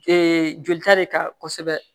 jolita de ka kosɛbɛ